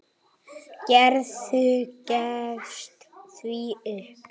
Gerður gefst því upp.